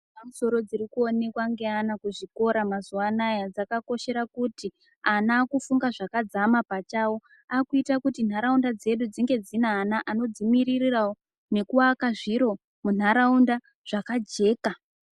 Dzepamusoro dziri kuonekwa ngeana kuzvikora mazuwanaya dzakakoshera kuti ana akufunga zvakadzama pachawo akuita kuti ntaraunda dzedu dzinge dzine ana anodzimiririrawo nekuakanzviro munharaunda zvakajeka.